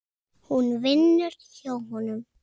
Hún vinnur hjá honum.